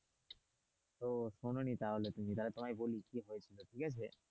তো শোনোনি তাহলে তুমি তাহলে তোমায় বলি কি হয়েছিল ঠিক আছে?